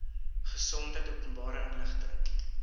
gesondheid openbare inligting